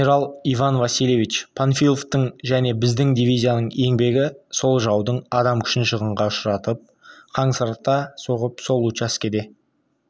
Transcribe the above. генерал иван васильевич панфиловтың және біздің дивизияның еңбегі сол жаудың адам күшін шығынға ұшыратып қансырата соғып сол учаскеде